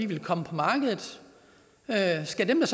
ville komme på markedet skal dem der